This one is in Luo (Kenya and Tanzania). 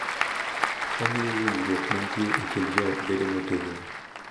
Omiyo winjruok mantie e kind jo ot bedo motegno